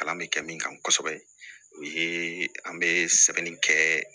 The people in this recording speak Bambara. Kalan bɛ kɛ min kan kosɛbɛ o ye an bɛ sɛbɛnni kɛ